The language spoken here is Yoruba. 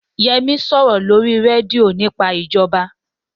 Yẹmí ń sọ̀rọ̀ lórí rédíò nípa ìjọba